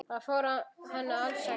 Það fór henni alls ekki.